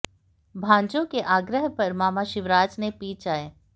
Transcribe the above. भांजों के आग्रह पर मामा शिवराज ने पी चाय